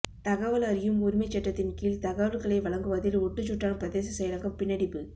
தகவல் அறியும் உரிமைச்சட்டத்தின் கீழ் தகவல்களை வழங்குவதில் ஒட்டுசுட்டான் பிரதேச செயலகம் பின்னடிப்பு